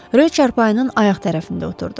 Rö çarpayının ayaq tərəfində oturdu.